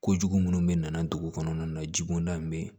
Kojugu minnu bɛ nana dugu kɔnɔna na jiko da in bɛ yen